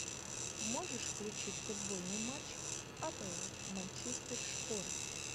можешь включить футбольный матч апл манчестер шпоры